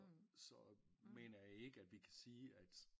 Så mener jeg ikke kan vi kan sige at